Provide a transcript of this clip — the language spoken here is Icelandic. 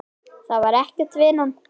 Það var ekkert, vinan.